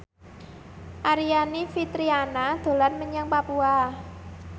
Aryani Fitriana dolan menyang Papua